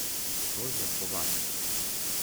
Lojze Kovačič.